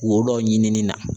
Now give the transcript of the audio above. Wo dɔ ɲinini na